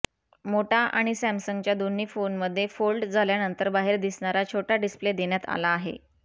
मोटा आणि सॅमसंगच्या दोन्ही फोनमध्ये फोल्ड झाल्यानंतर बाहेर दिसणारा छोटा डिस्प्ले देण्यात आला आहे